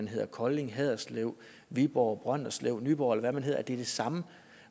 hedder kolding haderslev viborg brønderslev nyborg eller hvad den hedder at det er det samme